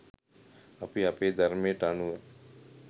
අපි අපේ ධර්මයට අනුව